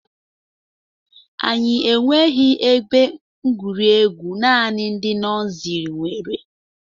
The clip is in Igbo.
Anyị enweghi ebe egwuregwu, naanị ndị nọsiri nwere